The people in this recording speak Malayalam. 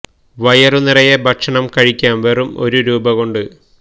വയറു നിറയെ ഭക്ഷണം കഴിക്കാം വെറും ഒരു രൂപ കൊണ്ട്